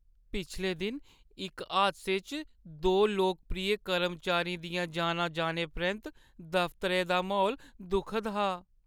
पिछले दिन इक हादसे च दो लोकप्रिय कर्मचारियें दियां जानां जाने परैंत्त दफतरै दा म्हौल दुखद हा।